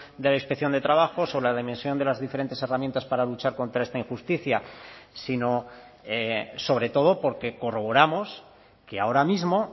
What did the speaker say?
de la inspección de trabajo sobre la dimensión de las diferentes herramientas para luchar contra esta injusticia sino sobre todo porque corroboramos que ahora mismo